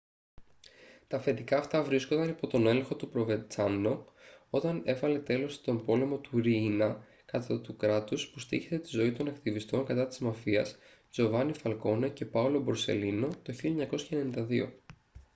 τα αφεντικά αυτά βρίσκονταν υπό τον έλεγχο του προβεντσάνο όταν έβαλε τέλος στον πόλεμο του ριίνα κατά του κράτους που στοίχησε τη ζωή των ακτιβιστών κατά της μαφίας τζοβάνι φαλκόνε και πάολο μπορσελίνο το 1992»